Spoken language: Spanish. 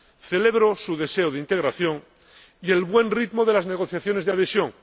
Celebro su deseo de integración y el buen ritmo de las negociaciones de adhesión.